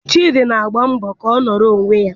Chidi na-agba mbọ ka ọ nọrọ onwe ya.